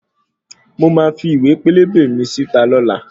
Mo máa fi iwe pélébé mi síta lọ́la